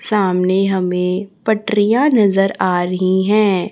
सामने हमें पटरियां नजर आ रहीं हैं।